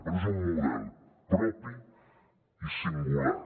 però és un model propi i singular